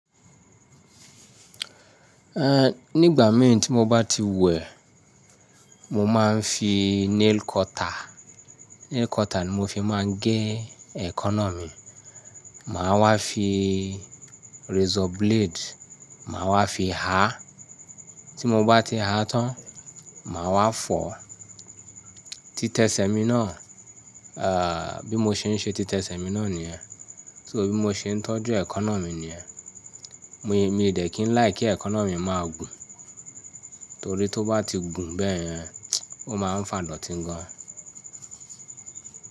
Ehn, nígbà mẹ́rin tí mo bá ti wẹ, mo máa ń fi nail cutter, nail cutter ni mo fi máa ń gé ẹ̀kọ́nà mi. Màá wá fi razor blade, màá wá fi há. Tí mo bá ti há tán, màá wá fọ̀. Títẹ́ṣẹ́ mi náà, eh, bí mo ṣe ń ṣe títẹ́ṣẹ́ mi náà nìyẹn. So bí mo ṣe ń tọ́jú ẹ̀kọ́nà mi nìyẹn. Mi, mi ò dẹ̀ kí n láì kí ẹ̀kọ́nà mi máa gùn. Torí tó bá ti gùn bẹ́ẹ̀ yẹn, ó máa ń fà idọtí gan.